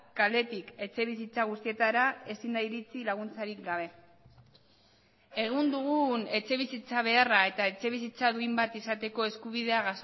kaletik etxebizitza guztietara ezin da iritsi laguntzarik gabe egun dugun etxebizitza beharra eta etxebizitza duin bat izateko eskubidea